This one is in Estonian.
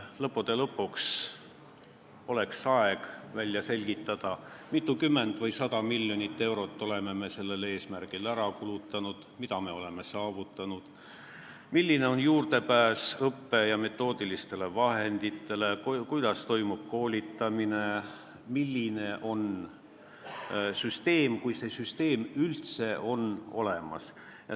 Lõppude lõpuks oleks aeg välja selgitada, mitukümmend või mitusada miljonit eurot oleme me sellel eesmärgil ära kulutanud, mida me oleme saavutanud, milline on juurdepääs õppe- ja metoodilistele vahenditele, kuidas toimub koolitamine ja milline on süsteem, kui see üldse olemas on.